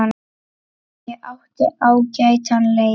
Já, ég átti ágætan leik.